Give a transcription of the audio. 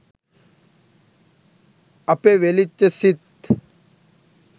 අපෙ වෙලිච්ච සිත්